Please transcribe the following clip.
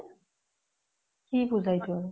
কি পুজা আৰু এইটো আৰু ?